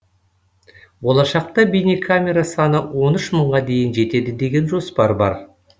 болашақта бейнекамера саны он үш мыңға дейін жетеді деген жоспар бар